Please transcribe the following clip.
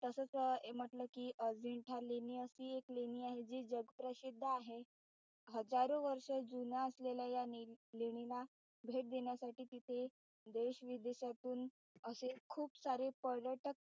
तसेच म्हटलं कि अजिंठा लेणी अशी लेणी आहे जी जगप्रसिद्ध आहे. हजारो वर्ष जुना असलेल्या या लेणींना भेट देण्यासाठी तिथे देशविदेशातून अशे खूप सारे पर्यटक,